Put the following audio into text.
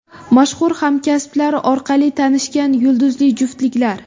Mashhur hamkasblari orqali tanishgan yulduzli juftliklar .